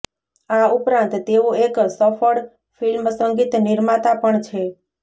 આ ઉપરાંત તેઓ એક સફળ ફિલ્મસંગીત નિર્માતા પણ છે